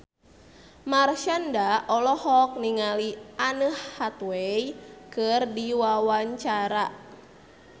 Marshanda olohok ningali Anne Hathaway keur diwawancara